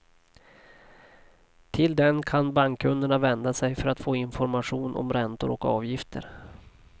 Till den kan bankkunderna vända sig för att få information om räntor och avgifter.